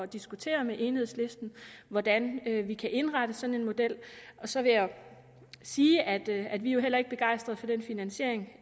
diskutere med enhedslisten hvordan vi kan indrette sådan en model og så vil jeg sige at at vi jo heller ikke er begejstret for den finansiering